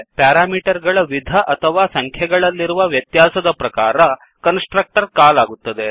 parameter ಗಳ ವಿಧ ಅಥವಾ ಸಂಖ್ಯೆಗಳಲ್ಲಿರುವ ವ್ಯತ್ಯಾಸದ ಪ್ರಕಾರ ಕನ್ಸ್ ಟ್ರಕ್ಟರ್ ಕಾಲ್ ಆಗುತ್ತದೆ